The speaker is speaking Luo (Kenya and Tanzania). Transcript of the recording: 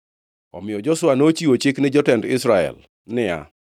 Omiyo Joshua nochiwo chik ni jotend Israel niya,